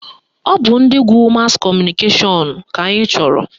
Ọ bụ ndị gụrụ mas kọmụnikeshọn ka anyị chọrọ